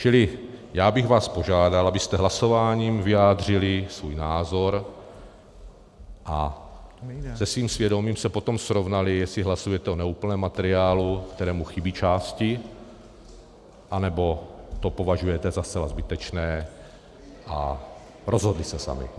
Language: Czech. Čili já bych vás požádal, abyste hlasováním vyjádřili svůj názor a se svým svědomím se potom srovnali, jestli hlasujete o neúplném materiálu, kterému chybí části, anebo to považujete za zcela zbytečné, a rozhodli se sami.